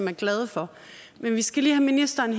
er glade for men vi skal lige have ministeren